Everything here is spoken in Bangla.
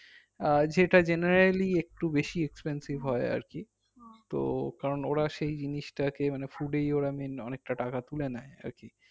আহ যেইটা generally একটু বেশি expensive হয় আর কি তো কারণ ওরা সেই জিনিসটাকে মানে food এই ওরা main অনেকটা টাকা তুলে নেই আর কি